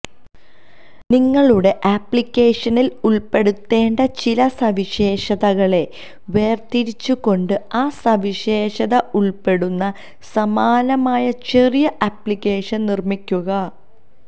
നിങ്ങളുടെ അപ്ലിക്കേഷനിൽ ഉൾപ്പെടുത്തേണ്ട ചില സവിശേഷതകളെ വേർതിരിച്ചുകൊണ്ട് ആ സവിശേഷത ഉൾപ്പെടുന്ന സമാനമായ ചെറിയ അപ്ലിക്കേഷൻ നിർമ്മിക്കുക